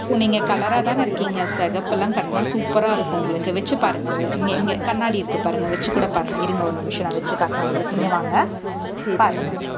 இப்போ நீங்க color ஆதானே இருக்கீங்க சிகப்பு எல்லாம் கட்டினா super ஆ இருக்கும் உங்களுக்கு வச்சு பாருங்க இங்க இங்கே கண்ணாடி இருக்கு பாருங்க. வச்சு கூட பாருங்க. இருங்க ஒரு நிமிஷம் நான் வச்சு காட்டுறேன் உங்களுக்கு இங்கே வாங்க. பாருங்க.